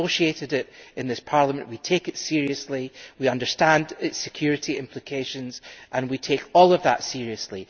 We negotiated it in this Parliament, we take it seriously, we understand its security implications and we take all of that seriously.